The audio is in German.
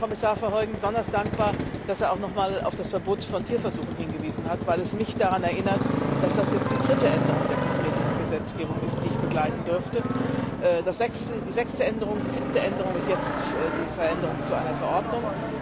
Ich bin Herrn Kommissar Verheugen besonders dankbar, dass er nochmals auf das Verbot von Tierversuchen hingewiesen hat, weil es mich daran erinnert, dass das jetzt die dritte Änderung der Kosmetikgesetzgebung ist, die ich begleiten durfte die sechste Änderung, die siebte Änderung, und jetzt die Veränderung zu einer Verordnung.